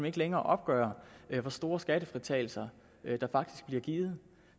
ikke længere opgøre hvor store skattefritagelser der faktisk bliver givet